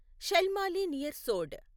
Shalmali near సోడ్